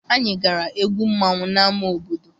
Anyị gara egwu mmanwụ n'ama obodo.